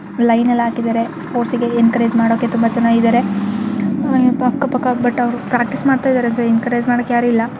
Line ಎಲ್ಲಾ ಹಾಕಿದರೆ sports ಗೆ ಎನ್ಕರೇಜ ಮಾಡೋಕೆ ತುಂಬಾ ಜನ ಇದಾರೆ ಹಾ ಏನ್ಪಾ ಅಕ್ಕ ಪಕ್ಕಾ ಬಟ್ ಅವರ್ ಪ್ರಾಕ್ಟೀಸ್ ಮಾಡ್ತಾ ಇದಾರೆ ಎನ್ಕರೇಜ ಮಾಡೋಕೆ ಯಾರು ಇಲ್ಲಾ.